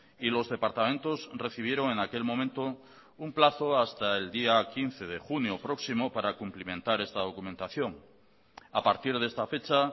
y los departamentos recibieron en aquel momento un plazo hasta el día quince de junio próximo para cumplimentar esta documentación a partir de esta fecha